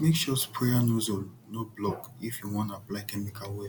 make sure sprayer nozzle no block if you wan apply chemical well